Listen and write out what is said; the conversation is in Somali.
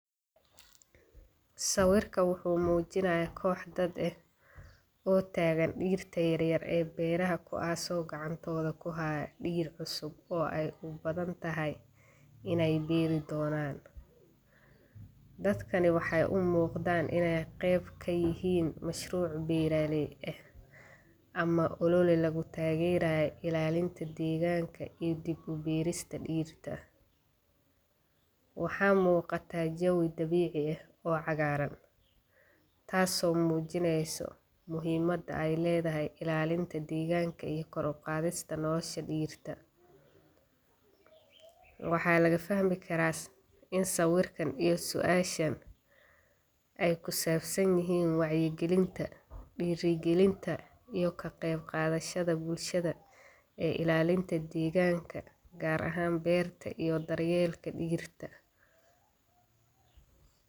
Sawiirkaan wuxuu mujinaaya koox dad ah oo taagan diirta yaryar oo beeraha, kuwaas oo gacantooda kuhaaya diir cusub oo aay ubadan tahay ineey beeri Doonan, dadkani waxeey umuuqdaan ineey qeyb kayihiin mashruuc beeraleey ah, ama oloola lagu taagerayo ilaalinta deganka iyo dib ubeerista dirta, waxaa muuqata jawi dabiici ah oo cagaaran, taas oo mujineyso muhiimada aay ledahay ilaalinta deeganka iyo kor uqaadista nolosha dirta, waxa laga fahmi karaa in sawiirkaan iyo suashan aay kusaabsan yihiin wacyi galinta, diiri galinta iyo ka qeyb qaadashada bulshada ee ilaalinta deeganka, gaar ahaan beerta iyo dar yeelka dirta.